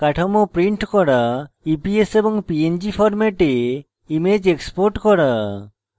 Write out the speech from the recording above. eps এবং png ফরম্যাটে image export করা